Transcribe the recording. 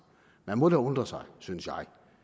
man må da undre sig synes jeg